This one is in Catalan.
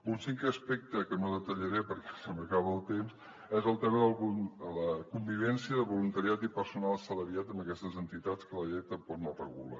un cinquè aspecte que no detallaré perquè se m’acaba el temps és el tema de la convivència de voluntariat i personal assalariat en aquestes entitats que la llei tampoc no regula